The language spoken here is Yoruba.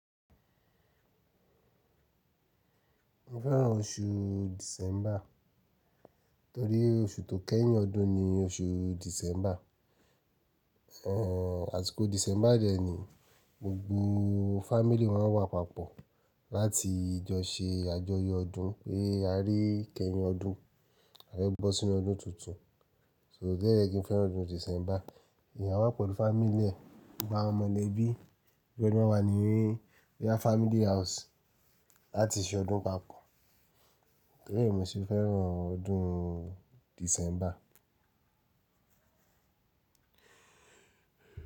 Mo fẹ́ràn oṣù December, torí oṣù tó kẹ́yìn ọdún ni oṣù December. Ehn, àsìkò December dẹ ni, gbogbo fámílì ma ńwà papọ̀ láti jọ ṣe àjọyọ̀ ọdún pé a rí ìkẹ́yìn ọdún, a fẹ́ bọ́ sínú ọdún tuntun. So, ìdí nìyẹn tí mo fi fẹ́ràn ọdún December. Èèyàn á wà pẹ̀lú fámílì rẹ̀, gbogbo àwọn mọ̀lẹ́bí, gbogbo wọn máa wá ní bóyá fámílì house láti ṣe ọdún papọ̀. Torí ẹ ni mo ṣe fẹ́ràn ọdún December.